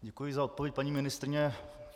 Děkuji za odpověď, paní ministryně.